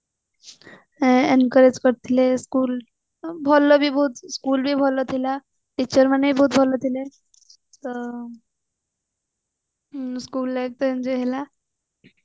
encourage କରିଥିଲେ school ଭଲ ବି ବହୁତ school ବି ଭଲ ଥିଲା teacher ମାନେ ବି ବହୁତ ଭଲ ଥିଲେ ଆଉ school life ତ enjoy ହେଲା